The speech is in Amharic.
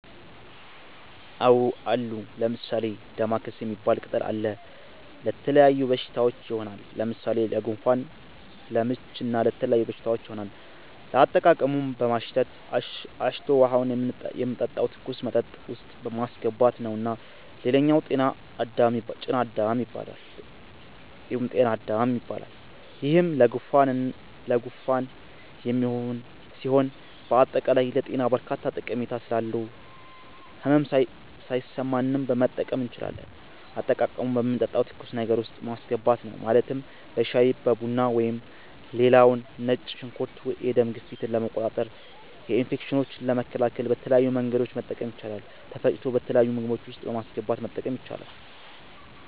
አዎ አሉ። ለምሣሌ፦ ደማከሴ ሚባል ቅጠል አለ። ለተለያዩ በሽታዎች ይሆናል። ለምሣሌ ለጉንፋን፣ ለምች ለተለያዩ በሽታዎች ይሆናል። አጠቃቀሙም በማሽተት፣ አሽቶ ውሀውን የምንጠጣው ትኩስ መጠጥ ውስጥ ማሥገባት ነዉ ሌላኛው ጤና -አዳም ይባላል ይሄም ለጉንፋን የሚሆን ሢሆን በአጠቃላይ ለጤና በርካታ ጠሜታ ስላለው ህመም ሣይሠማንም መጠቀም እንችላለን። አጠቃቀሙም በምንጠጣው ትኩስ ነገር ውስጥ ማስገባት ነው ማለትም በሻይ(በቡና ) ሌላው ነጭ ሽንኩርት የደም ግፊትን ለመቆጣጠር፣ ኢንፌክሽኖችን ለመከላከል በተለያዩ መንገዶች መጠቀም ይቻላል ተፈጭቶ በተለያዩ ምግቦች ውስጥ በማስገባት መጠቀም ይቻላል።